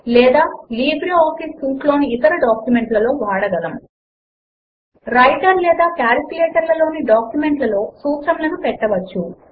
లేదా LibreOffice suite లోని ఇతర డాక్యుమెంట్ లలో వాడగలము వ్రైటర్ లేదా కాల్క్ లలోని డాక్యుమెంట్ లలో సూత్రములను పెట్టవచ్చు